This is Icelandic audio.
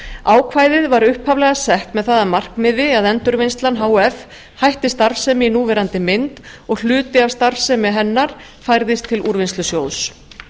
ákvæðið var upphaflega sett með það að markmiði að endurvinnslan h f hætti starfsemi í núverandi mynd og hluti af starfsemi hennar færðist til úrvinnslusjóðs